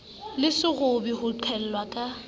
le sekgobo ho qhellwa ka